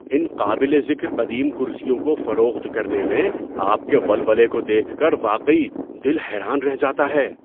ان قابل ذکر قدیم کرسیوں کو فروخت کرنے میں آپ کے ولولے کو دیکھ کر واقعی دل حیران رہ جاتا ہے۔